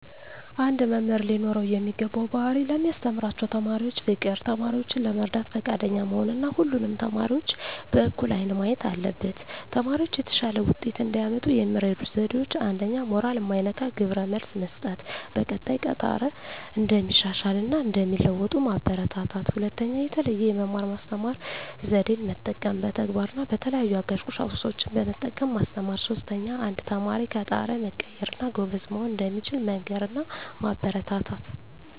አንድ መምህር ሊኖረው የሚገባው ባህሪ ለሚያስተምራቸው ተማሪዎች ፍቅር፣ ተማሪዎችን ለመርዳት ፈቃደኛ መሆን እና ሁሉንም ተማሪዎች በእኩል አይን ማየት አለበት። ተማሪዎች የተሻለ ውጤት እንዲያመጡ የሚረዱ ዜዴዎች 1ኛ. ሞራል ማይነካ ግብረ መልስ መስጠት፣ በቀጣይ ከጣረ እንደሚሻሻል እና እንደሚለዎጡ ማበራታታት። 2ኛ. የተለየ የመማር ማስተማር ዜዴን መጠቀም፣ በተግባር እና በተለያዩ አጋዥ ቁሳቁሶችን በመጠቀም ማስተማር። 3ኛ. አንድ ተማሪ ከጣረ መቀየር እና ጎበዝ መሆን እንደሚችል መንገር እና ማበረታታት።